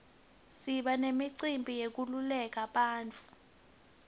siba nemicimbi yenkululeko yebantfu